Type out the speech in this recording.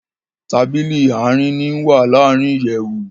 Tábìlì Àárín ni wá larin ìyèwù